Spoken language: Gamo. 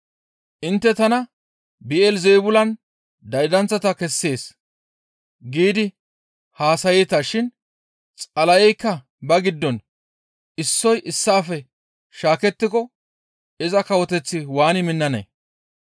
Intte tana, ‹Bi7elizeebulan daydanththata kessees› giidi haasayeeta shin Xala7eykka ba giddon issoy issaafe shaakettiko iza kawoteththi waani minnanee?